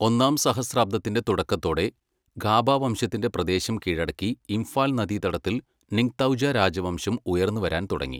ഒന്നാം സഹസ്രാബ്ദത്തിന്റെ തുടക്കത്തോടെ, ഖാബ വംശത്തിന്റെ പ്രദേശം കീഴടക്കി ഇംഫാൽ നദീതടത്തിൽ നിംഗ്തൗജ രാജവംശം ഉയർന്നുവരാൻ തുടങ്ങി.